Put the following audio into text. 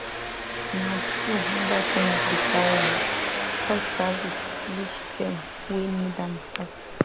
na true mobile clinic dey carry um health service reach dem wey need am pass